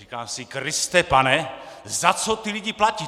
Říkám si: Kriste pane, za co ty lidi platí?